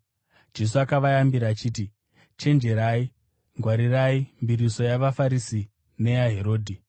Jesu akavayambira achiti, “Chenjerai. Ngwarirai mbiriso yavaFarisi neyaHerodhi.”